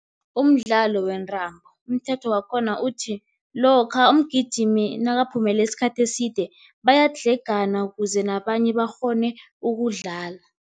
Umdlalo wentambo, umthetho wakhona uthi, lokha umgijimi nakaphumule isikhathi eside, bayadlhegana kuze nabanye bakghone ukudlala.